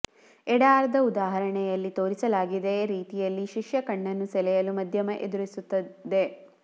ಎಡ ಅರ್ಧ ಉದಾಹರಣೆಯಲ್ಲಿ ತೋರಿಸಲಾಗಿದೆ ರೀತಿಯಲ್ಲಿ ಶಿಷ್ಯ ಕಣ್ಣನ್ನು ಸೆಳೆಯಲು ಮಧ್ಯಮ ಎದುರಿಸುತ್ತಿದೆ